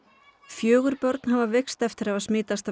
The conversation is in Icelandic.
fjögur börn hafa veikst eftir að hafa smitast af